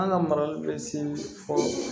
An ka marali bɛ se fɔ